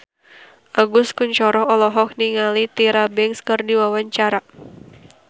Agus Kuncoro olohok ningali Tyra Banks keur diwawancara